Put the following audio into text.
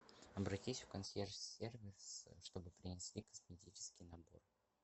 обратись в консьерж сервис чтобы принесли косметический набор